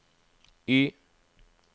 Y